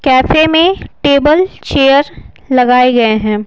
Cafe में table chair लगाए गए हैं।